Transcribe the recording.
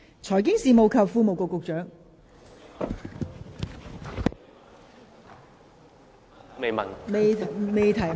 財經事務及庫務局局長，請作答。